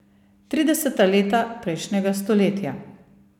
Trideseta leta prejšnjega stoletja.